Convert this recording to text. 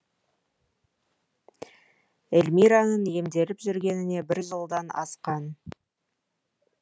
эльмираның емделіп жүргеніне бір жылдан асқан